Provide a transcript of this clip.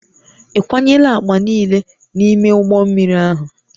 Ị kwanyela akpa niile n'ime ụgbọ mmiri ahụ?